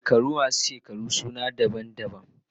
Shekaru masu shekaru suna da sunaye daban-daban.